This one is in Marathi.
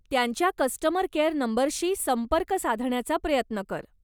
त्यांच्या कस्टमर केअर नंबरशी संपर्क साधण्याचा प्रयत्न कर.